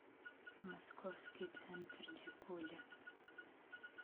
московский центр дикуля